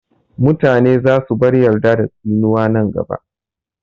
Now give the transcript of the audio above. Mutane za su bar yarda da tsinuwa nan gaba